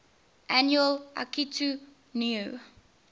annual akitu new